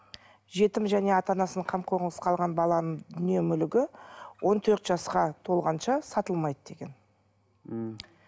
жетім және ата анасының қамқорлығынсыз қалған баланың дүние мүлігі он төрт жасқа толғанша сатылмайды деген мхм